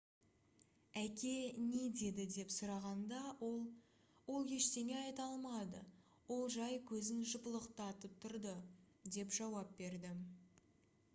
әке не деді деп сұрағанда ол «ол ештеңе айта алмады — ол жай көзін жыпылықтатып тұрды» - деп жауап берді